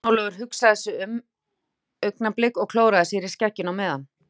Jón Ólafur hugsaði sig um augnablik og klóraði sér í skegginu á meðan.